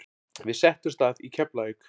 Við settumst að í Keflavík.